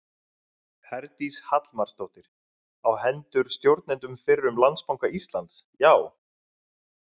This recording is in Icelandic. Herdís Hallmarsdóttir: Á hendur stjórnendum fyrrum Landsbanka Íslands, já?